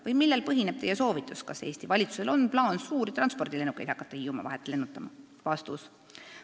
Või millel põhineb Teie soovitus – kas Eesti valitsusel on plaan suuri transpordilennukeid hakata Hiiumaa vahet lennutama?